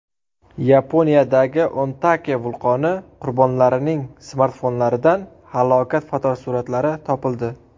Yaponiyadagi Ontake vulqoni qurbonlarining smartfonlaridan halokat fotosuratlari topildi.